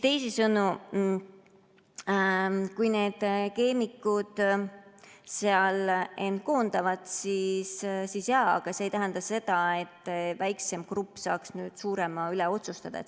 Teisisõnu, kui keemikud end koondavad, siis jaa, aga see ei tähenda, et väiksem grupp saaks suurema üle otsustada.